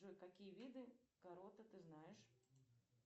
джой какие виды ты знаешь